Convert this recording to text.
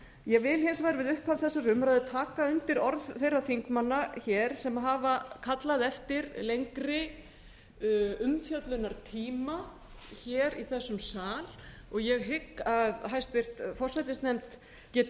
ég vil hins vegar við upphaf þessarar umræðu taka undir orð þeirra þingmanna sem hafa kallað eftir lengri umfjöllunartíma í þessum sal og ég hygg að háttvirtur forsætisnefnd geti